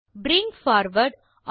bring forward